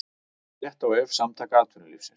Frétt á vef Samtaka atvinnulífsins